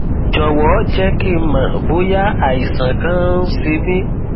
jọwọ jẹ kí n mọ bóyá àìsàn kan ń ṣe mí